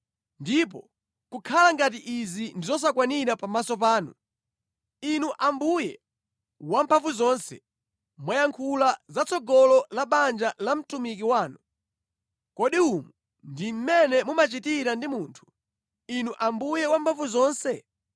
Ndipo kukhala ngati izi ndi zosakwanira pamaso panu, Inu Ambuye Wamphamvuzonse, mwayankhula zatsogolo la banja la mtumiki wanu. Kodi umu ndi mmene mumachitira ndi munthu, Inu Ambuye Wamphamvuzonse?